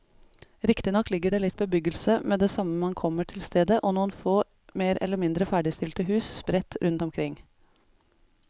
Riktignok ligger det litt bebyggelse med det samme man kommer til stedet og noen få mer eller mindre ferdigstilte hus sprett rundt omkring.